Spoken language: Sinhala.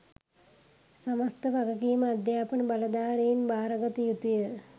සමස්ත වගකීම අධ්‍යාපන බලධාරීන් බාරගත යුතුය